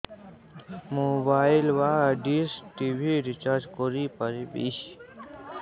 mobile ବା dish TV recharge କରି ପାରିବି